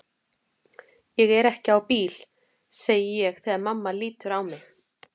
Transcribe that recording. Ég er ekki á bíl, segi ég þegar mamma lítur á mig.